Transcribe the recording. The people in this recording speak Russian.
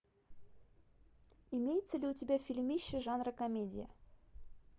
имеется ли у тебя фильмище жанра комедия